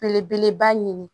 Belebeleba ɲini